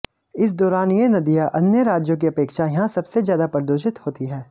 इस दौरान ये नदियां अन्य राज्यों की अपेक्षा यहां सबसे ज्यादा प्रदूषित होती हैं